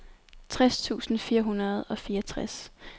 tres tusind fire hundrede og fireogtres